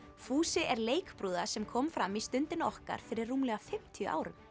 fúsi er leikbrúða sem kom fram í Stundinni okkar fyrir rúmlega fimmtíu árum